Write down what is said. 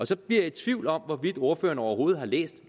så bliver jeg i tvivl om hvorvidt ordføreren overhovedet har læst